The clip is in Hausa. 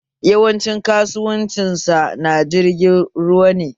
Yawancin kasuwancin shi na jirgin ruwa ne